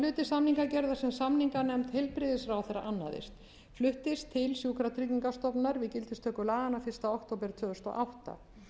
samningagerðar sem samninganefnd heilbrigðisráðherra annaðist fluttist til sjúkratryggingastofnunar við gildistöku laganna fyrsta október tvö þúsund og átta